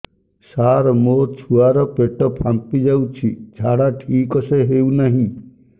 ସାର ମୋ ଛୁଆ ର ପେଟ ଫାମ୍ପି ଯାଉଛି ଝାଡା ଠିକ ସେ ହେଉନାହିଁ